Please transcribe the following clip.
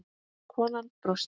Konan brosti.